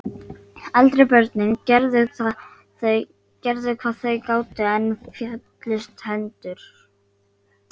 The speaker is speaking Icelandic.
Eldri börnin gerðu hvað þau gátu, en féllust hendur.